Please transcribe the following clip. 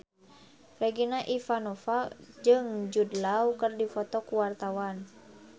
Regina Ivanova jeung Jude Law keur dipoto ku wartawan